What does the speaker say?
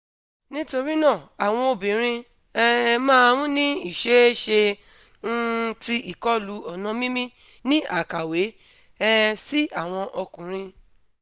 nitorina awọn obinrin um maa n ni iṣeeṣe um ti ikolu ọna mimi ni akawe um si awọn ọkunrin